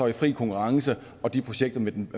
i fri konkurrence er de projekter med den